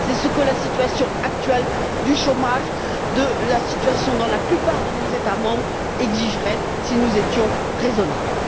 C'est ce que la situation actuelle du chômage, la situation dans la plupart de nos États membres exigerait si nous étions raisonnables.